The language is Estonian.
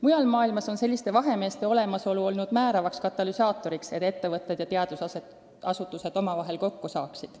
Mujal maailmas on selliste vahemeeste olemasolu olnud määravaks katalüsaatoriks, et ettevõtted ja teadusasutused omavahel kokku saaksid.